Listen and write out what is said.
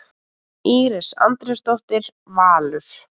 Íris Andrésdóttir, Valur.